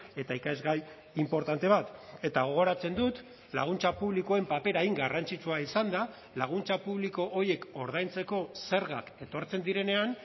eta ikasgai inportante bat eta gogoratzen dut laguntza publikoen papera hain garrantzitsua izanda laguntza publiko horiek ordaintzeko zergak etortzen direnean